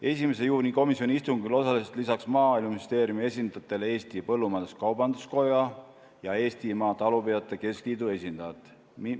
Komisjoni 1. juuni istungil osalesid peale Maaeluministeeriumi esindajate Eesti Põllumajandus-Kaubanduskoja ja Eestimaa Talupidajate Keskliidu esindajad.